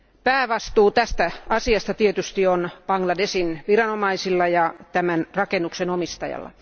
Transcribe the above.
Päävastuu tästä asiasta tietysti on Bangladeshin viranomaisilla ja tämän rakennuksen omistajalla.